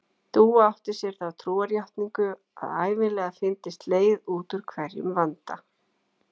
Dúa átti sér þá trúarjátningu að ævinlega fyndist leið út úr hverjum vanda.